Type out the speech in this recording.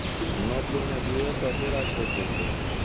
নব্বই না দুই হাজার দশ আগ পর্যন্ত.